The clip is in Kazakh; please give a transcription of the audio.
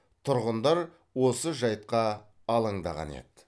тұрғындар осы жайтқа алаңдаған еді